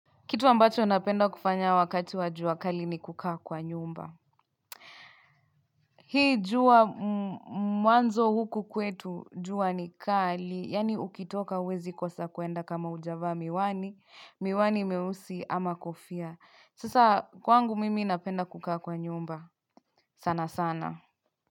Kitu ambacho napenda kufanya wakati wa jua kali ni kukaa kwa nyumba. Hii jua mwanzo huku kwetu jua ni kali, yaani ukitoka huezi kosa kuenda kama hujavaa miwani, miwani mieusi ama kofia. Sasa kwangu mimi napenda kukaa kwa nyumba. Sana sana.